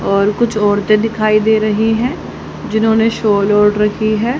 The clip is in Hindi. और कुछ औरतें दिखाई दे रही है जिन्होंने शॉल ओढ़ रखी है।